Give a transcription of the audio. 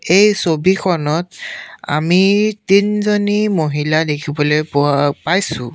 এই ছবিখনত আমি তিনিজনী মহিলা দেখিবলৈ পোৱা পাইছোঁ।